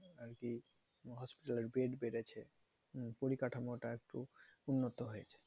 আরকি hospital এর bed বেড়েছে। পরিকাঠামোটা একটু উন্নত হয়েছে।